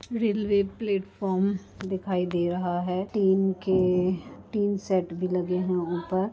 Railway platform दिखाई दे रहा है टीन के टीन शेड भी लगे हुए है ऊपर।